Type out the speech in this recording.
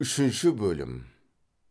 үшінші бөлім